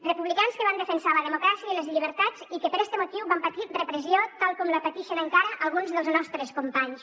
republicans que van defensar la democràcia i les llibertats i que per este motiu van patir repressió tal com la pateixen encara alguns dels nostres companys